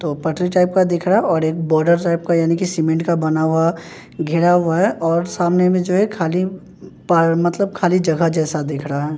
तो पटरी टाइप का दिख रहा और एक बॉर्डर टाइप का यानी कि सीमेंट का बना हुआ घिरा हुआ है और सामने में जो है खाली पा मतलब खाली जगह जैसा दिख रहा है।